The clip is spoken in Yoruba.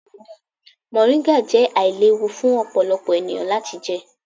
Moringa jẹ ailewu fun ọpọlọpọ eniyan lati jẹ.